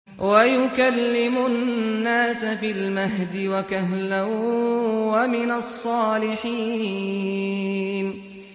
وَيُكَلِّمُ النَّاسَ فِي الْمَهْدِ وَكَهْلًا وَمِنَ الصَّالِحِينَ